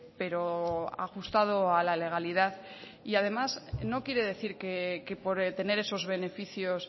pero ajustado a la legalidad además no quiere decir que por tener esos beneficios